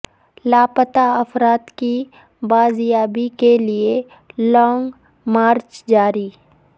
لاپتہ افراد کی بازیابی کے لیے لانگ مارچ جاری